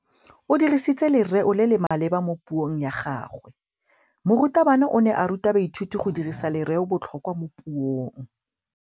O dirisitse lerêo le le maleba mo puông ya gagwe. Morutabana o ne a ruta baithuti go dirisa lêrêôbotlhôkwa mo puong.